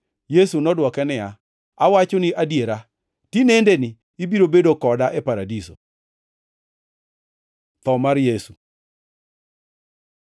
Yesu nodwoke niya, “Awachoni adiera, tinendeni ibiro bedo koda e Paradiso.” Tho mar Yesu